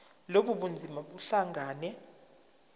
lobu bunzima buhlangane